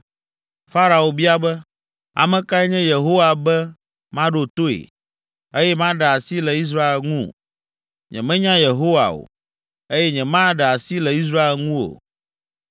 Farao bia be, “Ame kae nye Yehowa be maɖo toe, eye maɖe asi le Israel ŋu? Nyemenya Yehowa o, eye nyemaɖe asi le Israel ŋu o.”